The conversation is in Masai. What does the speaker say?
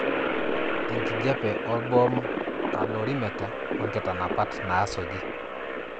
enkijiape olbom calorimeter o nkitanapat naasuji.